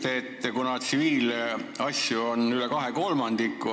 Te ütlete, et tsiviilasju on üle kahe kolmandiku.